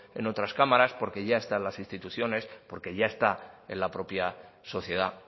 en otras cámaras porque ya está en las instituciones porque ya está en la propia sociedad